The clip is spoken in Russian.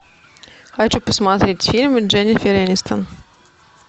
хочу посмотреть фильмы дженнифер энистон